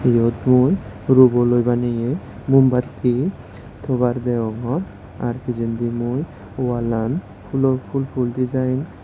eyot mui ruboloi banayaye mumbati tobar deongor ar pijendi wallan phulor phul phul dejaen .